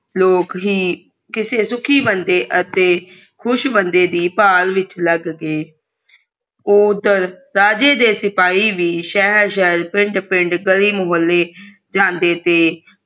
ਲੋਗ ਹੀ ਕਿਸੇ ਸੁਖੀ ਬੰਦੇ ਅਤੇ ਖੁਸ਼ ਬੰਦੇ ਦੀ ਭਾਲ ਵਿਚ ਲੱਗ ਗਏ ਉਦਰ ਰਾਜੇ ਦੇ ਸਿਪਾਹੀ ਵੀ ਸ਼ਹਰ ਸ਼ਹਰ ਪਿੰਡ ਪਿੰਡ ਗਲੀ ਮੋਹੱਲੇ ਜਾਂਦੇ ਤੇ